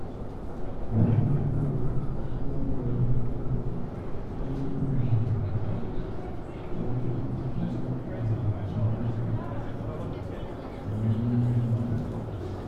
Owongogo owó tó ń wọlé lọ́dọọdún ní Egypt wale sí twenty five point six percent ní osu kejo